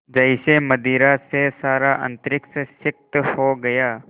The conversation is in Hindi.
जैसे मदिरा से सारा अंतरिक्ष सिक्त हो गया